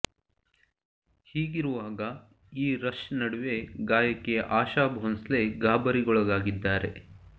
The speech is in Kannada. ಹೀಗಿರುವಾಗ ಈ ರಶ್ ನಡುವೆ ಗಾಯಕಿ ಆಶಾ ಭೋಂಸ್ಲೆ ಗಾಬರಿಗೊಳಗಾಗಿದ್ದಾರೆ